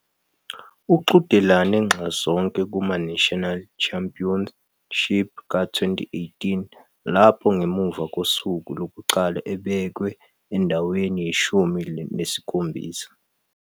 Uqhudelane nxazonke kumaNational Championship ka-2018 lapho ngemuva kosuku lokuqala ebekwe endaweni yeshumi nesikhombisa.